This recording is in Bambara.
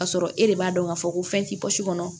Ka sɔrɔ e de b'a dɔn k'a fɔ ko fɛn tɛ pɔsi kɔnɔ